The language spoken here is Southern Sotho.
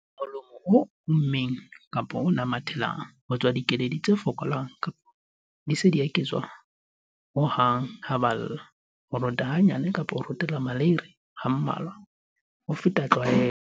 Molomo o ommeng kapa o namathelang. Ho tswa dikeledi tse fokolang kapa di se ke tsa tswa ho hang ha ba lla. Ho rota hanyane kapa ho rotela maleiri ha mmalwa ho feta tlwaelo.